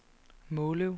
Måløv